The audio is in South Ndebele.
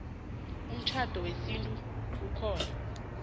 umtjhado wesintu okhona